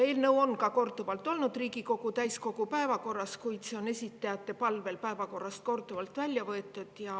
Eelnõu on korduvalt olnud Riigikogu täiskogu päevakorras, kuid see on esitajate palvel päevakorrast korduvalt välja võetud.